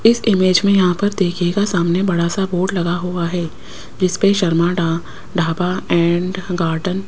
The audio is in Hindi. इस इमेज में यहां पर देखिएगा सामने बड़ा सा बोर्ड लगा हुआ है जिस पे शर्मा डा ढाबा एंड गार्डन --